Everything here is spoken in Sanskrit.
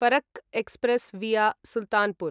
Farakka express via Sultanpur